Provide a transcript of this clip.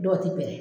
Dɔw ti pɛrɛ